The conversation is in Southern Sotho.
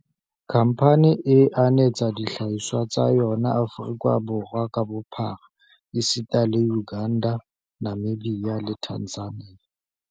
Khamphane e anetsa dihlahiswa tsa yona Aforika Borwa ka bophara esita le Uganda, Namibia le Tanzania.